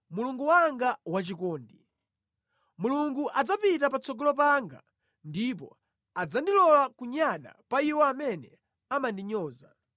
Mulungu wanga wachikondi. Mulungu adzapita patsogolo panga ndipo adzandilola kunyada pa iwo amene amandinyoza.